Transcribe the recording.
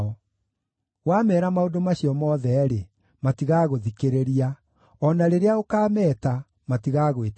“Wameera maũndũ macio mothe-rĩ, matigaagũthikĩrĩria; o na rĩrĩa ũkaameeta, matigaagwĩtĩka.